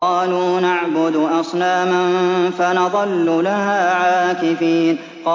قَالُوا نَعْبُدُ أَصْنَامًا فَنَظَلُّ لَهَا عَاكِفِينَ